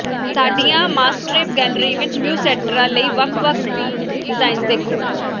ਸਾਡੀਆਂ ਮਾਸਟਰੇਪ ਗੈਲਰੀ ਵਿਚ ਮਿਊਸੈਟਰਾਂ ਲਈ ਵੱਖ ਵੱਖ ਡਿਜ਼ਾਈਨਜ਼ ਦੇਖੋ